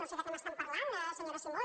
no sé de què m’estan parlant senyora simó